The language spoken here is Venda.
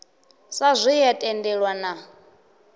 sa zwe ya tendelwa na